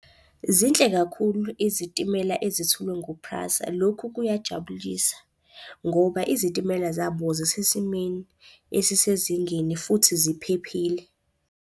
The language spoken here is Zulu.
Zinhle kakhulu izitimela ezithulwe nguPrasa. Lokhu kuyajabulisa ngoba izitimela zabo zisesimeni esisezingeni futhi ziphephile.